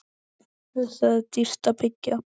Þar er dýrt að byggja.